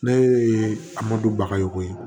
Ne ye a mɔdu bagayo ye